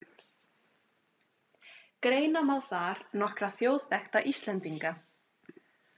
Greina má þar nokkra þjóðþekkta Íslendinga